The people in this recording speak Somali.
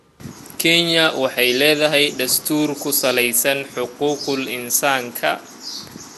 Kenya waxay leedahay dastuur ku salaysan xuquuqul insaanka.